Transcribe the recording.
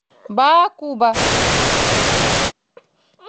баакуба